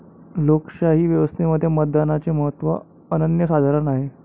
लोकशाही व्यवस्थेमध्ये मतदानाचे महत्त्व अनन्यसाधारण आहे.